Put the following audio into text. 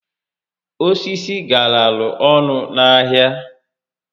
Osisi garalụ ọnụ n'ahịa